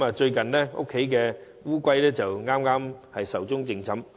最近家中的龜剛壽終正寢。